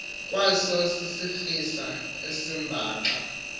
kwaso sisirisa esimbaxa